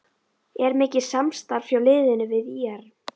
Er mikið samstarf hjá liðinu við ÍR?